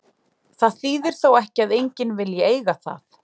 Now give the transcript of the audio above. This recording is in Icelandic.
Það þýðir þó ekki að enginn vilji eiga það.